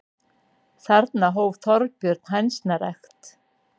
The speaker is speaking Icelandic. Þarna hóf Þorbjörn hænsnarækt.